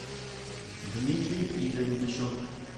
дмитрию игоревичу